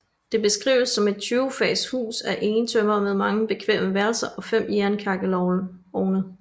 Det beskrives som et 20 fags hus af egetømmer med mange bekvemme værelser og fem jernkakkelovne